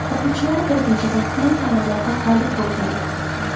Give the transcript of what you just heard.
O‘quvchilari bir necha bor tuman tanlovlarida g‘olib bo‘lgan edi.